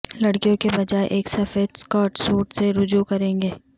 لڑکیوں کے بجائے ایک سفید سکرٹ سوٹ سے رجوع کریں گے